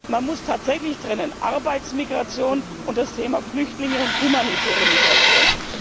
Man muss tatsächlich trennen Arbeitsmigration und das Thema Flüchtlinge und humanitäre Migration.